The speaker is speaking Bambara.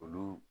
Olu